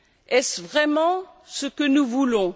Est ce vraiment ce que nous voulons?